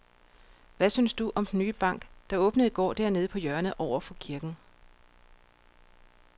Hvad synes du om den nye bank, der åbnede i går dernede på hjørnet over for kirken?